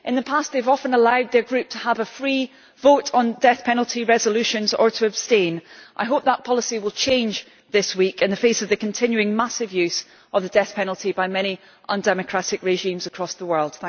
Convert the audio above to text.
In the past they have often allowed their Group to have a free vote on death penalty resolutions or to abstain. I hope that policy will change this week in the face of the continuing massive use of the death penalty by many undemocratic regimes across the world.